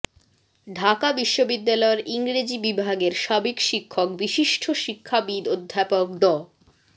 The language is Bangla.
ঢাকা বিশ্ববিদ্যালয়ের ইংরেজি বিভাগের সাবেক শিক্ষক বিশিষ্ট শিক্ষাবিদ অধ্যাপক ড